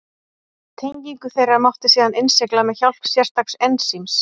Tengingu þeirra mátti síðan innsigla með hjálp sérstaks ensíms.